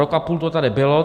Rok a půl to tady bylo.